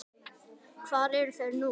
Hvar eru þeir nú?